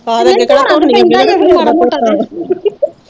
ਧੋਣਾ ਤੇ ਪੈਂਦਾ ਈ ਫਿਰ ਮਾੜਾ ਮੋਟਾ ਤਾ